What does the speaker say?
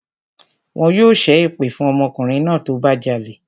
Wọn yóò ṣẹ́ èpè fún ọmọkùnrin náà tó bá jalè